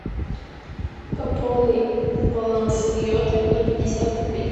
пополни баланс йоты на пятьдесят рублей